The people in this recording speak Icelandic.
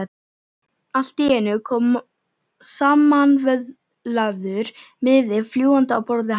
Allt í einu kom samanvöðlaður miði fljúgandi á borðið hans.